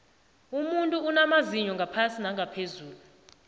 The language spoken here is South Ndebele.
umunfuinamazinya ngaphasi ngaphezulu